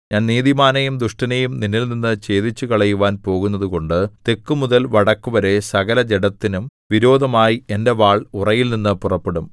ഞാൻ നീതിമാനെയും ദുഷ്ടനെയും നിന്നിൽനിന്നു ഛേദിച്ചുകളയുവാൻ പോകുന്നതുകൊണ്ട് തെക്കുമുതൽ വടക്കുവരെ സകലജഡത്തിനും വിരോധമായി എന്റെ വാൾ ഉറയിൽനിന്ന് പുറപ്പെടും